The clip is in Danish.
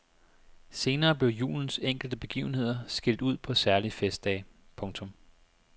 Senere blev julens enkelte begivenheder skilt ud på særlige festdage. punktum